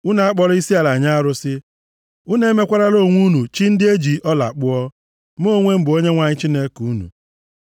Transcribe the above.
“ ‘Unu akpọla isiala nye arụsị, unu emekwarala onwe unu chi ndị e ji ọla kpụọ. Mụ onwe m bụ Onyenwe anyị Chineke unu.